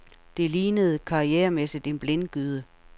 Det lignende karrieremæssigt en blindgyde.